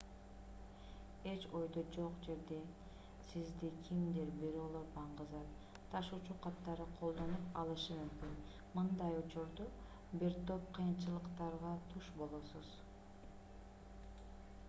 эч ойдо жок жерден сизди кимдир-бирөөлөр баңгизат ташуучу катары колдонуп алышы мүмкүн мындай учурда бир топ кыйынчылыктарга туш болосуз